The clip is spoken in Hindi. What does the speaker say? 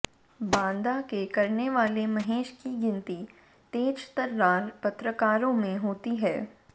बांदा के करने वाले महेश की गिनती तेज तर्रार पत्रकारों में होती है